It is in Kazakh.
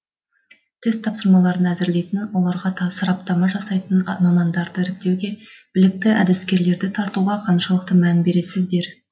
тест тапсырмаларын әзірлейтін оларға сараптама жасайтын мамандарды іріктеуге білікті әдіскерлерді тартуға қаншалықты мән бересіздер